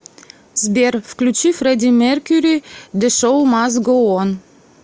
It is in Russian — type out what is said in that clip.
сбер включи фреди меркьюри де шоу маст гоу он